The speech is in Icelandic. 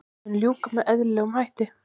Mun ljúka með eðlilegum hætti